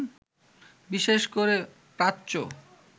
বিশেষ করে প্রাচ্য